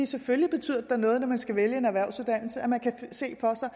selvfølgelig betyder det da noget når man skal vælge en erhvervsuddannelse at man kan se for sig